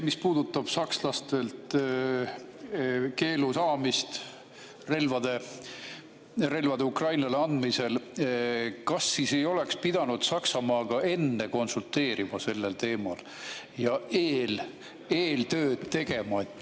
Mis puudutab sakslastelt keelu saamist relvade Ukrainale andmisel, siis kas ei oleks pidanud Saksamaaga enne konsulteerima sellel teemal, eeltööd tegema?